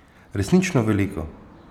Resnično veliko.